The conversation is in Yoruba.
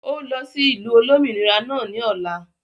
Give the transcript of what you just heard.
ó lọ sí ìlú Olómìnira náà ni ọ̀la